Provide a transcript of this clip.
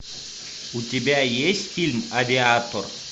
у тебя есть фильм авиатор